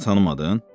Məni tanımadın?